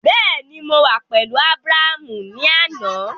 Bẹẹni, Mo wa pẹlu Abraham ni ana